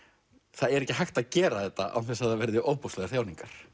það er ekki hægt að gera þetta án þess að það verði ofboðslegar þjáningar